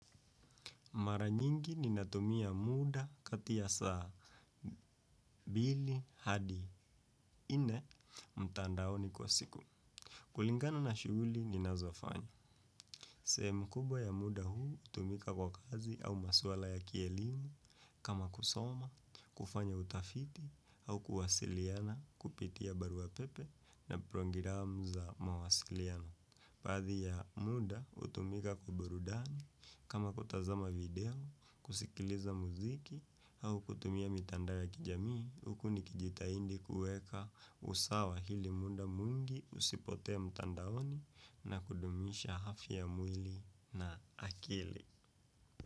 Mara nyingi ninatumia muda kati ya saa mbili hadi nne mtandaoni kwa siku. Kulingana na shughuli ninazofanya. Sehemu kubwa ya muda huu hutumika kwa kazi au maswala ya kielimu kama kusoma, kufanya utafiti au kuwasiliana kupitia barua pepe na programu za mawasiliano. Baadhi ya muda hutumika kwa burudani kama kutazama video kusikiliza muziki au kutumia mitandao ya kijamii huku nikijitahidi kuweka usawa ili muda mwingi usipotee mtandaoni na kudumisha afya ya mwili na akili.